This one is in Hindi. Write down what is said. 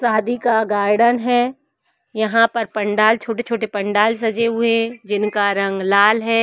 शादी का गार्डन है यहाँ पर पंडाल छोटे-छोटे पंडाल सजे हुए हैं जिनका रंग लाल है।